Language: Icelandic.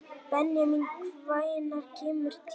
Benjamín, hvenær kemur tían?